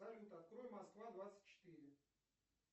салют открой москва двадцать четыре